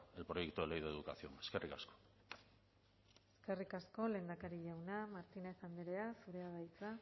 el proyecto de ley de educación eskerrik asko eskerrik asko lehendakari jauna martínez andrea zurea da hitza